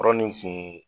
Kɔrɔ nin kun